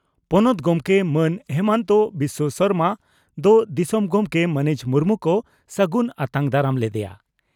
ᱯᱚᱱᱚᱛ ᱜᱚᱢᱠᱮ ᱢᱟᱱ ᱦᱤᱢᱚᱱᱛ ᱵᱤᱥᱚ ᱥᱚᱨᱢᱟ ᱫᱚ ᱫᱤᱥᱚᱢ ᱜᱚᱢᱠᱮ ᱢᱟᱹᱱᱤᱡ ᱢᱩᱨᱢᱩ ᱠᱚ ᱥᱟᱹᱜᱩᱱ ᱟᱛᱟᱝ ᱫᱟᱨᱟᱢ ᱞᱮᱫᱮᱭᱟ ᱾